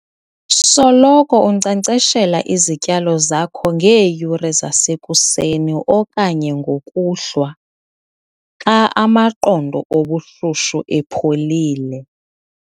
Soloko unkcenkceshela izityalo zakho ngeeyure zasekuseni okanye ngokuhlwa, xa amaqondo obushushu epholile.